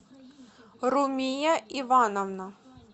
румия ивановна